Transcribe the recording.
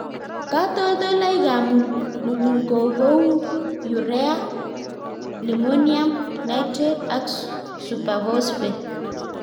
Katoltolikab mukunkok ko kou Urea, lime-ammonium nitrate ak superphosphate.